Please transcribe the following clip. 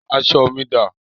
Aṣọ mi dá?